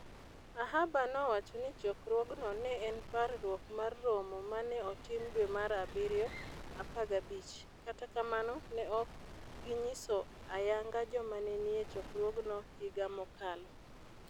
Ahaber nowacho ni chokruogno ne en "parruok mar romo ma ne otim dwe mar abirio 15", kata kamano ne ok ginyiso ayanga joma ne nie chokruogno higa mokalo.